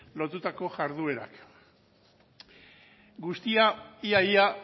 lotutako jarduerak guztira ia ia